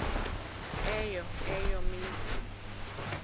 eyo eya mizi